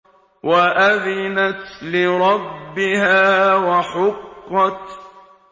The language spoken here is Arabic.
وَأَذِنَتْ لِرَبِّهَا وَحُقَّتْ